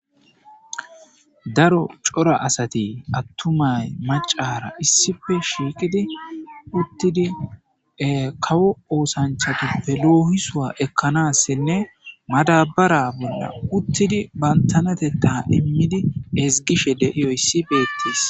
Daro cora asate attumay macara issippe shiiqidi uttidi kawo oosanchatuppe loohisua ekkanassinne madabara bolla uttidi bantanatetta immidi ezgishe deiyoy issi beettees.